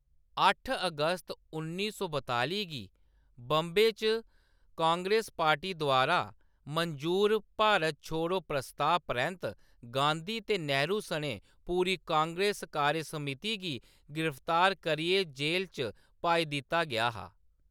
अट्ठ अगस्त उन्नी सौ बताली गी बाम्बे च कांग्रेस पार्टी द्वारा मंजूर भारत छोड़ो प्रस्ताऽ परैंत्त, गांधी ते नेहरू सनें पूरी कांग्रेस कार्यसमिति गी गिरफ्तार करियै जेल च पाई दित्ता गेआ हा।